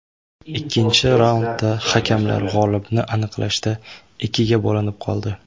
Ikkinchi raundda hakamlar g‘olibni aniqlashda ikkiga bo‘linib qoldi.